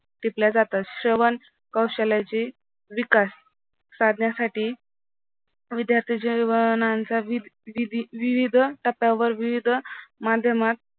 टिपल्या जातात श्रवण कौशल्याची विकास साधण्यासाठी विद्यार्थ्यांचा विविध टप्प्यावर विविध माध्यमात